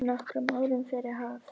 Nokkrum árum fyrr hafði